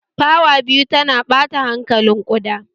Fawa biyu tana ɓata hankalin ƙuda